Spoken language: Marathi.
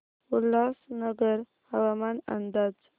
उल्हासनगर हवामान अंदाज